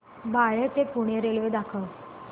बाळे ते पुणे रेल्वे दाखव